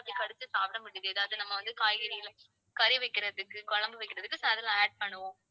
கடிச்சு சாப்பிட முடியாது. அது நம்ம வந்து காய்கறில கறி வைக்கிறதுக்கு குழம்பு வைக்கிறதுக்கு பண்ணுவோம்